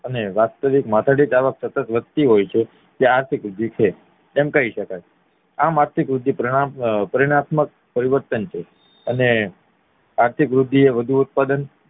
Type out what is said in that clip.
અને વાસ્વિક માથાદીઢ આવક વધતી હોય છે ત્યાં આર્થિક વૃદ્ધિ છે તેમ કહી શકાય આમ આર્થિક વૃદ્ધિ પરિણાત્મક પરિવર્તન છે અને આર્થિક વૃદ્ધિ એ વધુ ઉત્પાદન